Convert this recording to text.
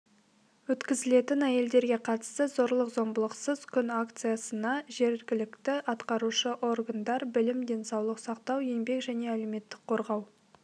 өткізілетін әйелдерге қатысты зорлық-зомбылықсыз күн акциясына жергілікті атқарушы органдар білім денсаулық сақтау еңбек және әлеуметтік қорғау